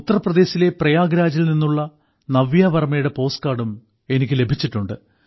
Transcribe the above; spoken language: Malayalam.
ഉത്തർപ്രദേശിലെ പ്രയാഗ്രാജിൽ നിന്നുള്ള നവ്യാവർമ്മയുടെ പോസ്റ്റ് കാർഡും എനിക്ക് ലഭിച്ചിട്ടുണ്ട്